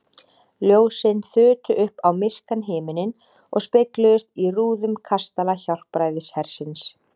Ljósin þutu upp á myrkan himininn og spegluðust í rúðum kastala Hjálpræðishersins.